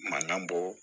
Manan bɔ